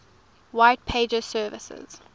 white pages services